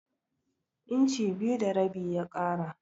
Inci biyu da rabi ya ƙara.